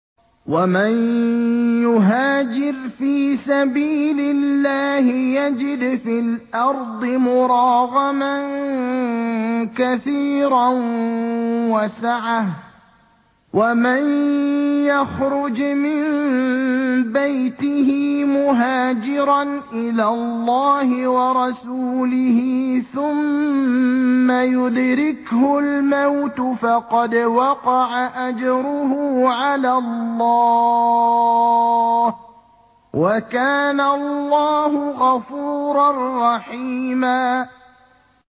۞ وَمَن يُهَاجِرْ فِي سَبِيلِ اللَّهِ يَجِدْ فِي الْأَرْضِ مُرَاغَمًا كَثِيرًا وَسَعَةً ۚ وَمَن يَخْرُجْ مِن بَيْتِهِ مُهَاجِرًا إِلَى اللَّهِ وَرَسُولِهِ ثُمَّ يُدْرِكْهُ الْمَوْتُ فَقَدْ وَقَعَ أَجْرُهُ عَلَى اللَّهِ ۗ وَكَانَ اللَّهُ غَفُورًا رَّحِيمًا